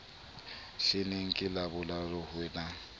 hleneng ke labohlano ho na